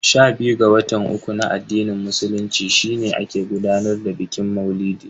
Sha biyu ga watan uku na addinin musulunci shine ake gudanar da bikin maulidi.